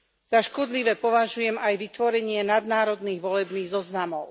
Za škodlivé považujem aj vytvorenie nadnárodných volebných zoznamov.